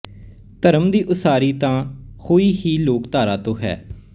ਧਰਮ ਦੀ ਉਸਾਰੀ ਤਾਂ ਹੋਈ ਹੀ ਲੋਕਧਾਰਾ ਤੋਂ ਹੈ